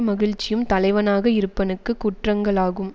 மகிழ்ச்சியும் தலைவனாக இருப்பனுக்கு குற்றங்களாகும்